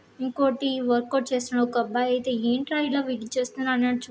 ఇంకోటి workout చేస్తున్న అబ్బాయయితే ఏంట్రా ఇలా వెయిట్ చేస్తున్నాడు అని చూస్తున్నాడు. ]